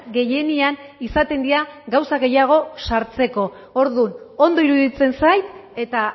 gehienean izaten dira gauza gehiago sartzeko orduan ondo iruditzen zait eta